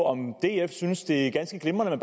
om df synes det er ganske glimrende at